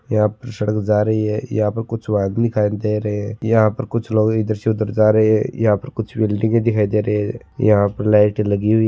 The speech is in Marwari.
यहां पर सड़क जा रही है यहां पर कुछ वाहन दिखाई दे रहे है यहां पर कुछ लोग इधर से उधर जा रहे है यहा पर कुछ बिल्डिंगे दिखाई दे रही है यहां पर लाइटे लगी हुई।